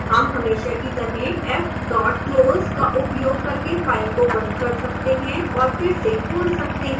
हम हमेशा की तरह fclose का उपयोग करके फाइल को बंद कर सकते हैं और फिर से खोल सकते हैं